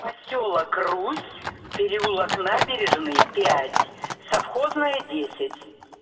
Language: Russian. посёлок русь переулок набережный пять совхозная десять